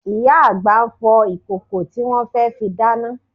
Ìyá àgbà ń fọ ìkòkò tí wọn fẹ́ fi dáná